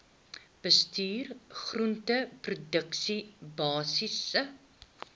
bestuur groenteproduksie basiese